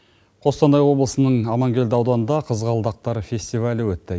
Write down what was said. қостанай облысының амангелді ауданында қызғалдақтар фестивалі өтті